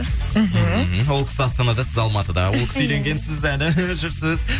мхм ол кісі астанада сіз алматыда ол кісі үйленген сіз әлі жүрсіз